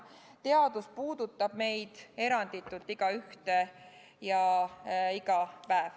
Teadus puudutab meid eranditult igaühte ja iga päev.